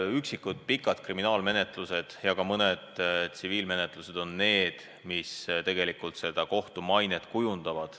On üksikud pikad kriminaalmenetlused ja ka mõned problemaatilised tsiviilmenetlused, mis kohtu mainet on halvendanud.